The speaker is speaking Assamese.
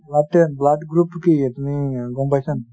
blood group টো কি তুমি গ'ম পাইছা নেকি?